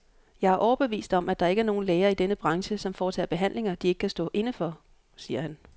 Jeg er overbevist om, at der ikke er nogen læger i denne branche, som foretager behandlinger, de ikke kan stå inde for, siger han.